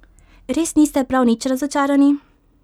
Res niste prav nič razočarani?